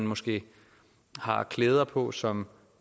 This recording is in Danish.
måske har klæder på som